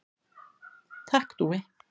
Takk Dúi.